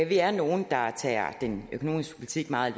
vi er nogle der tager den økonomiske politik meget